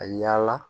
Ka yaala